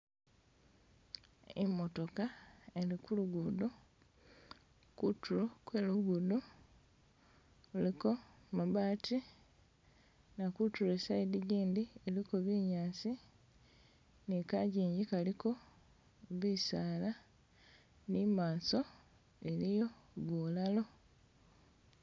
Imotooka eli kulugudo, kutulo kwelugudo kuliko mabati, na kutulo esayidi jindi iliko binyaasi ni kajinji kaliko bisaala ni'maso iliyo bulalo